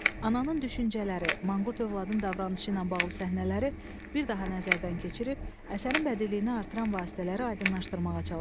Ananın düşüncələri, manqurt övladın davranışı ilə bağlı səhnələri bir daha nəzərdən keçirib, əsərin bədiliyinə artılan vasitələri aydınlaşdırmağa çalışın.